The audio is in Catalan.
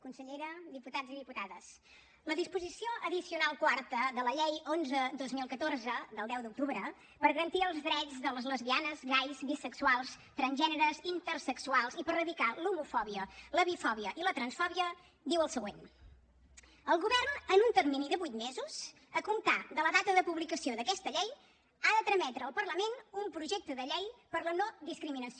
consellera diputats i diputades la disposició addicional quarta de la llei onze dos mil catorze del deu d’octubre per garantir els drets de les lesbianes gais bisexuals transgèneres intersexuals i per erradicar l’homofòbia la bifòbia i la transfòbia diu el següent el govern en un termini de vuit mesos a comptar de la data de publicació d’aquesta llei ha de trametre al parlament un projecte de llei per la no discriminació